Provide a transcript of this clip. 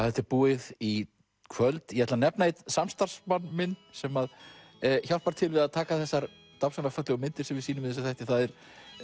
þetta er búið í kvöld ég ætla að nefna einn samstarfsmann sem að hjálpar til við að taka þessar dásamlega fallegu myndir sem við sýnum í þessum þætti það er